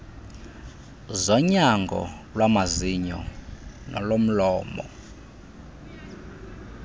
zonyango lwamazinyo nolomlomo